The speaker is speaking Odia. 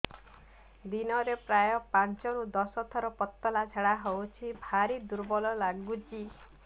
ଦିନରେ ପ୍ରାୟ ପାଞ୍ଚରୁ ଦଶ ଥର ପତଳା ଝାଡା ହଉଚି ଭାରି ଦୁର୍ବଳ ଲାଗୁଚି